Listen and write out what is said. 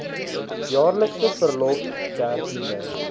jaarlikse verlof dertiende